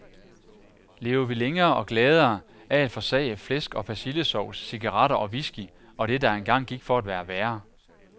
Lever vi længere og gladere af at forsage flæsk og persillesovs, cigaretter og whisky og det, der engang gik for at være værre.